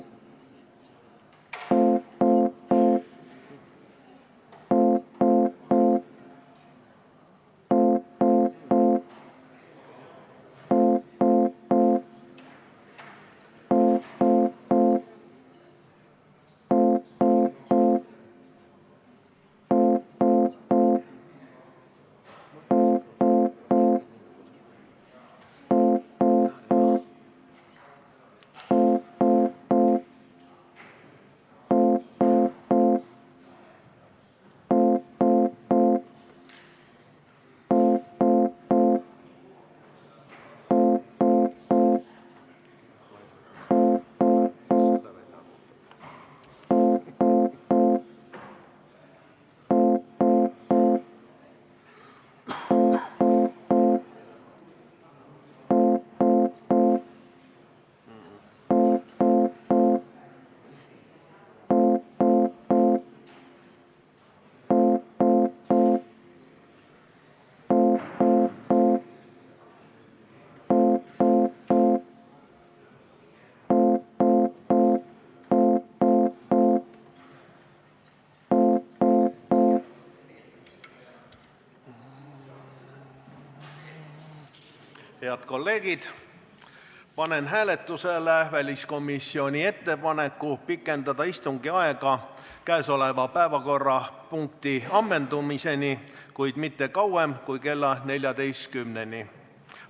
Head kolleegid, panen hääletusele väliskomisjoni ettepaneku pikendada istungit käesoleva päevakorrapunkti ammendumiseni, kuid mitte kauem kui kella 14-ni.